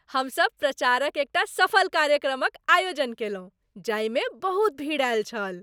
हमसभ प्रचारक एकटा सफल कार्यक्रमक आयोजन कयलहुँ जाहिमे बहुत भीड़ आयल छल।